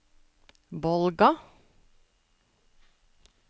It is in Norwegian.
Bolga